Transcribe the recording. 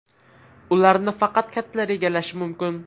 Ularni faqat kattalar egallashi mumkin.